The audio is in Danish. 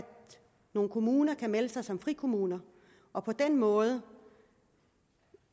nogle kommuner der kan melde sig som frikommuner og på den måde